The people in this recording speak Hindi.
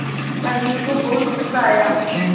अनिल को बहुत गु़स्सा आया